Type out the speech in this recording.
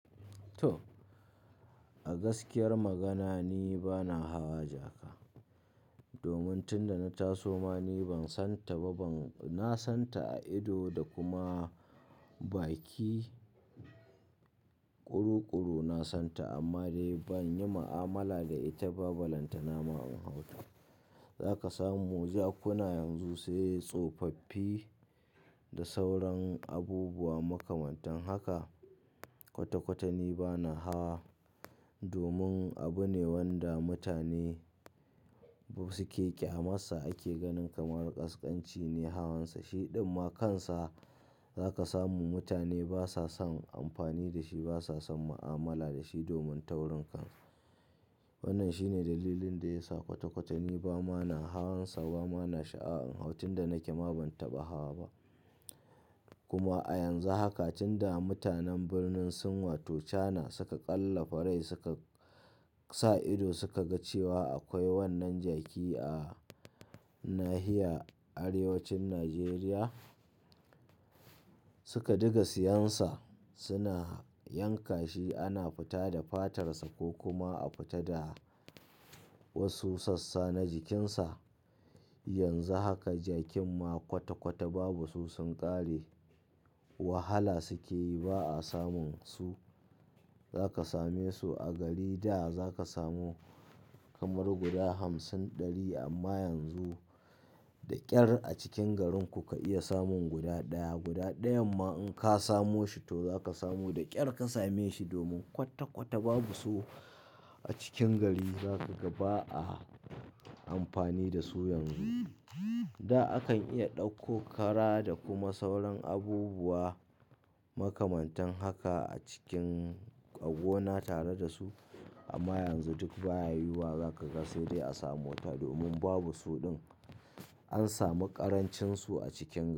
To, a gaskiyar magana ni bana hawa jaka. Domin tunda na taso ma ni ban san ta ba. Ban-- na san ta a ido da kuma baki kurukuru na san ta amma dai ban yi ma'amala da ita ba, ba balanta na ma in hau ta. Za ka samu jakuna yanzu sai tsofaffi da sauran abubuwa makamantan haka. Kwata-kwata ni bana ha domin abu ne wanda mutane su ke ƙyamar sa ake ganin kamar ƙasƙanci ne hawansa. Shiɗan ma kansa za ka samu mutane basa son amfani da shi, basa son ma'amala da shi domin taurin kansa. Wannan shine dalilin da ya sa kwata-kwata ni ba ma na hawansa, ba ma na sha'awan in hau. Tun da nake ma ban taɓa hawa ba. Kuma a yanzu haka tunda mutanen birnin Sin wato Chana suka ƙwalla fa rai suka sa ido, suka ga cewa akwai wannan jaki a nahiya arewacin Nijeriya, suka diga siyansa suna yanka shi ana fita da fatarsa ko kuma a fita da wasu sassa na jikinsa. Yanzu haka jakin ma kwata-kwata babu su, sun ƙare. Wahala suke yi ba a samun su. Za ka same su a gari da za ka samu kamar guda hamsin ɗari amma yanzu da ƙyar a cikin garin ku ka iya samun guda ɗaya. Guda ɗayan ma in ka samo shi to za ka samu da ƙyar ka same shi domin kwata-kwata babu su a cikin gari. Za ka gaba a amfani da su yanzu. Da akan iya ɗauko kara da kuma sauran abubuwa makamantan haka a cikin gona tare da su amma yanzu duk ba ya yiwuwa. Za ka ga sai dai a samo ta domin babu suɗin an samu ƙarancin su a cikin gari.